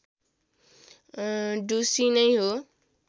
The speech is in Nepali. ढुसी नै हो